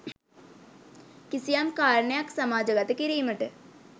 කිසියම් කාරණයක් සමාජගත කිරීමට